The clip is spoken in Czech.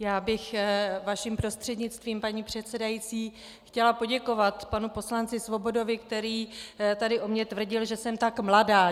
Já bych vaším prostřednictvím, paní předsedající, chtěla poděkovat panu poslanci Svobodovi, který tady o mně tvrdil, že jsem tak mladá.